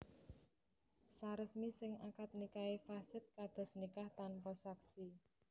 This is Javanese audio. Saresmi sing akad nikahé fasid kados nikah tanpa saksi